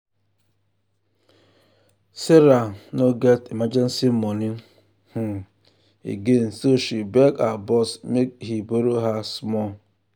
sarah no um get emergency money um again so she beg her boss make he borrow her small.